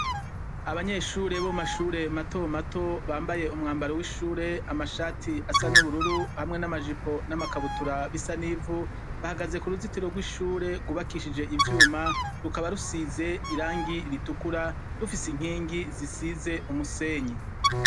abanyeshure bo mashure mato mato bambaye umwambaro w'ishure amashati asa n'ubururu hamwe n'amajipo n'amakabutura b'isanivu bahagaze ku ruzitiro rw'ishure rwubakishije ivyuma rukaba rusize irangi ritukura rufise inkingi zisize umusenyi